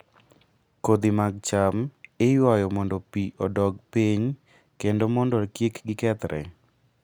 Kodhi mag cham iywayo mondo pi odog piny kendo mondo kik gikethre.